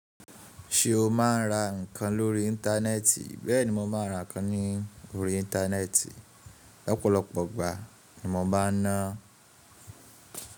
Ṣé o máa ń ra ǹkan lórí íńtánẹ́ẹ̀tì? Bẹ́ẹ̀ ni mo máa ra ǹkan lórí íńtánẹ́ẹ̀tì ọ̀pọ̀lọpọ̀ igbà ni mo bá ń ná.